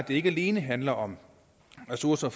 det ikke alene handler om ressourcer